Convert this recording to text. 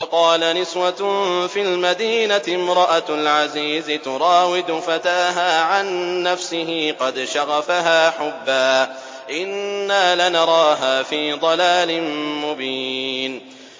۞ وَقَالَ نِسْوَةٌ فِي الْمَدِينَةِ امْرَأَتُ الْعَزِيزِ تُرَاوِدُ فَتَاهَا عَن نَّفْسِهِ ۖ قَدْ شَغَفَهَا حُبًّا ۖ إِنَّا لَنَرَاهَا فِي ضَلَالٍ مُّبِينٍ